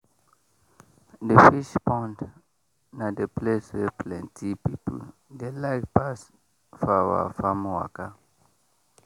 the fish pond na the place wey plenty people dey like pass for our farm waka.